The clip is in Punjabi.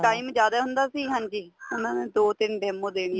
time ਜਿਆਦਾ ਹੁੰਦਾ ਸੀ ਹਾਂਜੀ ਉਹਨਾ ਨੇ ਦੋ ਤਿੰਨ demo ਦੇਣੀਆ